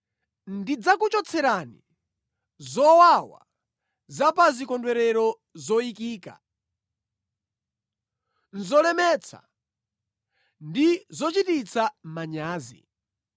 “Ndidzakuchotserani zowawa za pa zikondwerero zoyikika; nʼzolemetsa ndi zochititsa manyazi.